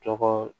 Tɔgɔ